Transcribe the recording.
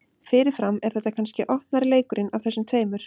Fyrirfram er þetta kannski opnari leikurinn af þessum tveimur.